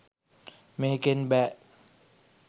මේකෙන් බෑ